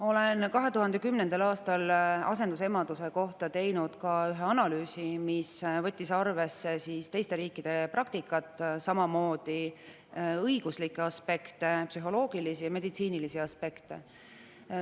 Tegin 2010. aastal asendusemaduse kohta ka ühe analüüsi, mis võttis arvesse teiste riikide praktikat, samamoodi õiguslikke aspekte, psühholoogilisi ja meditsiinilisi aspekte.